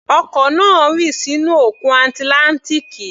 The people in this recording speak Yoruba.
Ọkọ̀ náà rì sínú Òkun Atlántíkì